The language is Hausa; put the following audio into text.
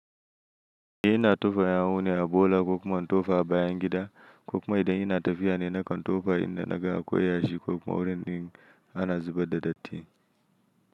Ni ina tofa yawu ne a bola ko kuma in tofa a bayangida, ko kuma idan ina tafiya ne nakan tofa inda nagan akwai yashi ko kuma wurin din ana zubar da datti.